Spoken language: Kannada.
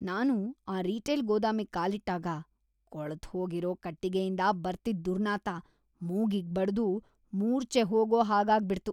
ನಾನು ಆ ರೀಟೇಲ್ ಗೋದಾಮಿಗ್ ಕಾಲಿಟ್ಟಾಗ ಕೊಳ್ತ್‌ಹೋಗಿರೋ ಕಟ್ಟಿಗೆಯಿಂದ ಬರ್ತಿದ್ದ್ ದುರ್ನಾತ ಮೂಗಿಗ್‌ ಬಡ್ದು ಮೂರ್ಛೆ ಹೋಗೋಹಾಗಾಗ್ಬಿಡ್ತು.